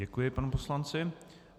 Děkuji panu poslanci.